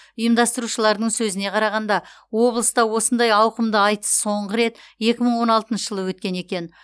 ұйымдастырушылардың сөзіне қарағанда облыста осындай ауқымды айтыс соңғы рет екі мың он алтыншы жылы өткен екен